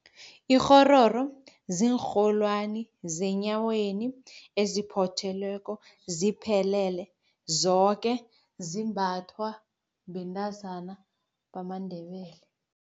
Ikghororo ziinrholwani zenyaweni eziphothelweko ziphelele zoke, zimbathwa bentazana bamaNdebele.